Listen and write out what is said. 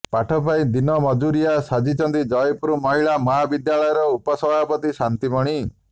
ପାଠ ପାଇଁ ଦିନ ମଜୁରିଆ ସାଜିଛନ୍ତି ଜୟପୁର ମହିଳା ମହାବିଦ୍ୟାଳୟର ଉପ ସଭାପତି ଶାନ୍ତିମଣି